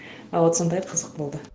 ы вот сондай қызық болды